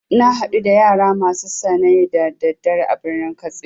Na hadu da yara masu sane da daddare a birnin katsina.